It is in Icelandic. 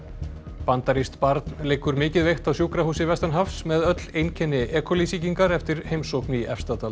bandarískt barn liggur mikið veikt á sjúkrahúsi vestanhafs með öll einkenni e coli sýkingar eftir heimsókn í Efstadal